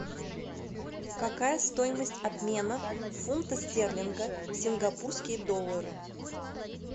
какая стоимость обмена фунта стерлинга в сингапурские доллары